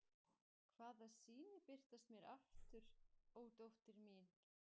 hvaða sýnir birtast mér aftur, ó dóttir mín.